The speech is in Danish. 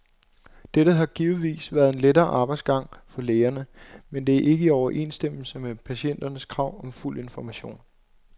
Dette har givetvis været en lettere arbejdsgang for lægerne, men det er ikke i overensstemmelse med patienternes krav om fuld information.